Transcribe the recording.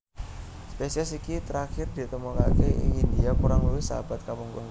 Spesies iki trakhir ditemokaké ing India kurang luwih seabad kapungkur